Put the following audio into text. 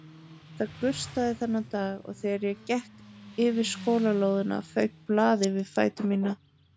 Það gustaði þennan dag og þegar ég gekk yfir skólalóðina fauk blað yfir fætur mína.